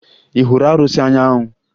Ị hụrụ arụsị Anyanwụ?